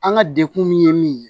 An ka dekun min ye min ye